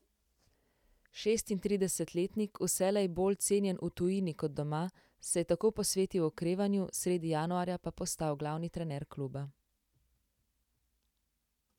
Šestintridesetletnik, vselej bolj cenjen v tujini kot doma, se je tako posvetil okrevanju, sredi januarja pa postal glavni trener kluba.